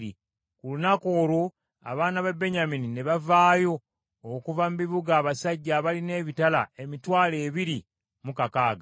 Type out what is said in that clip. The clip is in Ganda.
Ku lunaku olwo, abaana ba Benyamini ne bavaayo okuva mu bibuga abasajja abalina ebitala emitwalo ebiri mu kakaaga.